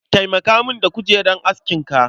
Taimaka min da kujerar askinka